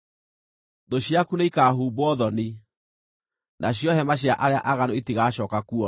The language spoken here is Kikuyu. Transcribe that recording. Thũ ciaku nĩikahumbwo thoni, nacio hema cia arĩa aaganu itigacooka kuonwo.”